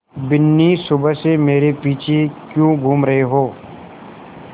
बिन्नी सुबह से मेरे पीछे क्यों घूम रहे हो